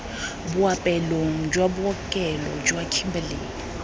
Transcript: boapeelong jwa bookelo jwa kimberley